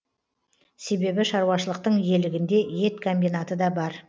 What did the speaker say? себебі шаруашылықтың иелігінде ет комбинаты да бар